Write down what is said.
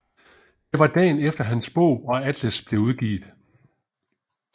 Det var dagen efter hans bog og atlas blev udgivet